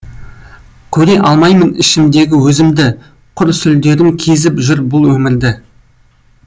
көре алмаймын ішімдегі өзімді құр сүлдерім кезіп жүр бұл өмірді